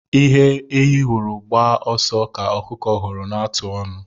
Ihe ehi hụrụ gbaa ọsọ ka ọkụkọ hụrụ na-ata ọnụ